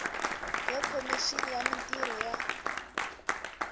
ya khomixini ya mintirho ya